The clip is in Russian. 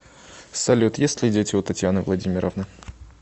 салют есть ли дети у татьяны владимировны